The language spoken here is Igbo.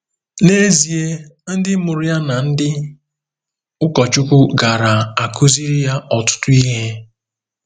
N'ezie, ndị mụrụ ya na ndị ụkọchukwu gaara akụziri ya ọtụtụ ihe.